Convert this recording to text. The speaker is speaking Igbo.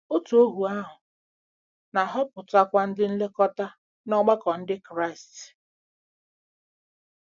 Òtù ohu ahụ na-ahọpụtakwa ndị nlekọta n'ọgbakọ Ndị Kraịst. — Mat.